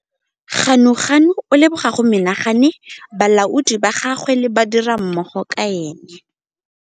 Ganuganu o leboga go menagane balaodi ba gagwe le badirimmogo ka ene.